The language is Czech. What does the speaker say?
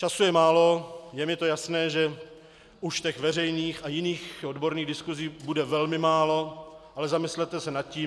Času je málo, je mi to jasné, že už těch veřejných a jiných odborných diskusí bude velmi málo, ale zamyslete se nad tím.